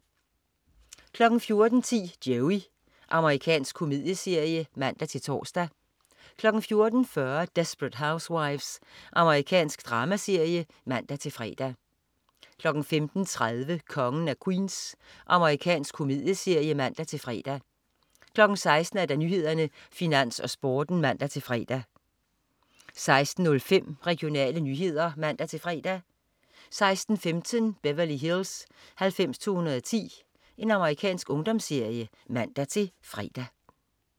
14.10 Joey. Amerikansk komedieserie (man-tors) 14.40 Desperate Housewives. Amerikansk dramaserie (man-fre) 15.30 Kongen af Queens. Amerikansk komedieserie (man-fre) 16.00 Nyhederne, Finans, Sporten (man-fre) 16.05 Regionale nyheder (man-fre) 16.15 Beverly Hills 90210. Amerikansk ungdomsserie (man-fre)